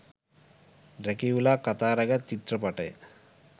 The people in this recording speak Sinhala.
ඩ්‍රැකියුලා කතා රැගත් චිත්‍රපටය.